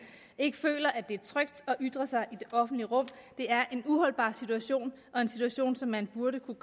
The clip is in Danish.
ikke føler at det er trygt at ytre sig det offentlige rum det er en uholdbar situation og en situation som man burde kunne